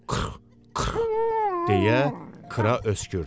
"Qırrx, qırrx" deyə Kra öskürdü.